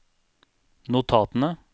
notatene